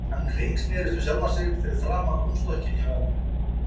Hann hringsnerist um sjálfan sig fyrir framan rúmstokkinn hjá ömmu.